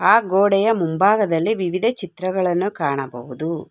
ಆ ಗೋಡೆಯ ಮುಂಭಾಗದಲ್ಲಿ ವಿವಿಧ ಚಿತ್ರಗಳನ್ನು ಕಾಣಬಹುದು